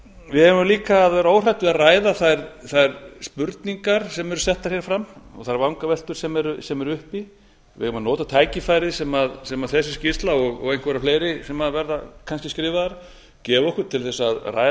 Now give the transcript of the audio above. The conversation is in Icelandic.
við eigum líka að vera óhrædd við að ræða þær spurningar sem eru settar hér fram og þær vangaveltur sem eru uppi við eigum að nota tækifærið sem þessi skýrsla og einhverjar fleiri sem verða kannski skrifaðar gefa okkur til að ræða